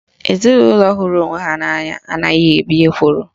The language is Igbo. Ezinaụlọ hụrụ onwe ha n'anya anaghị ebi n'ekworo